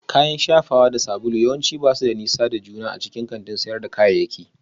Kayan shafawa da sabulu yawanci ba su da nisa da juna a cikin kantin sayar da kayayyaki